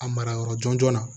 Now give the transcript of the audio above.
A mara yɔrɔ jɔn jɔn na